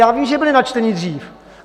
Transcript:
Já vím, že byly načteny dřív.